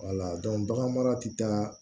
bagan mara ti taa